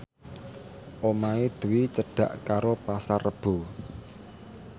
omahe Dwi cedhak karo Pasar Rebo